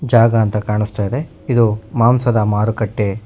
ಯಾಗ ಅಂತ ಕಾಣುಸ್ತಾ ಇದೆ ಇದು ಮಾಂಸದ ಮಾರುಕಟ್ಟೆ--